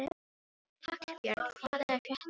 Hallbjörn, hvað er að frétta?